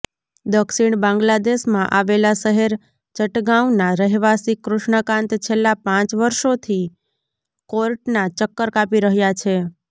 દક્ષિણ બાંગ્લાદેશમાં આવેલા શહેર ચટગાંવના રહેવાસી કૃષ્ણકાંત છેલ્લા પાંચ વર્ષોથી કોર્ટના ચક્કર કાપી રહ્યા છે